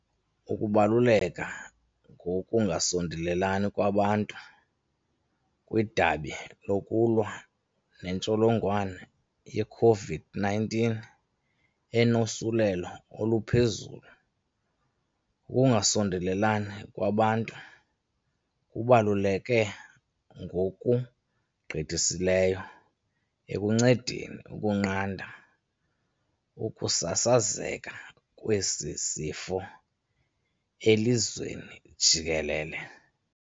Ukubaluleka ngokungasondelelani kwabantu. Kwidabi lokulwa nentsholongwane ye-COVID-19 enosulelo oluphezulu, ukungasondelelani kwabantu kubaluleke ngokugqithisileyo ekuncedeni ukunqanda ukusasazeka kwesi sifo elizweni jikelele.